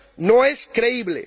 no es creíble.